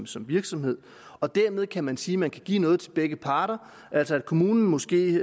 som virksomhed og dermed kan man sige at man kan give noget til begge parter altså at kommunen måske